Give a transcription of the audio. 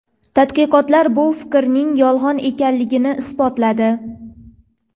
Tadqiqotlar bu fikrning yolg‘on ekanligini isbotladi.